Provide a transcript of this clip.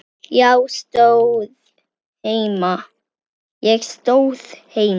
Já, stóð heima!